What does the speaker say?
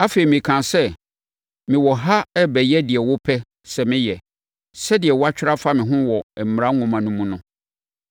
Afei, mekaa sɛ: ‘Mewɔ ha rebɛyɛ deɛ wopɛ sɛ meyɛ sɛdeɛ wɔatwerɛ afa me ho wɔ Mmara nwoma no mu no.’ ”